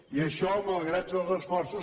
i això malgrat els esforços